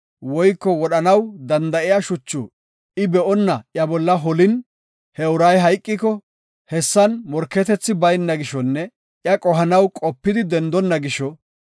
woyko wodhanaw danda7iya shuchu I be7onna iya bolla holin, he uray hayqiko, hessan morketethi bayna gishonne iya qohanaw qopidi dendonna gisho,